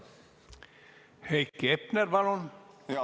Heiki Hepner, palun!